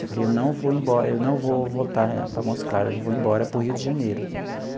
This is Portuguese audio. Eu falei, eu não vou embora eu não vou voltar para Montes Claros, eu vou embora para o Rio de Janeiro.